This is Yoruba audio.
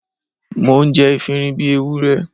Mò ń jẹ efinrin bí Ewúrẹ́.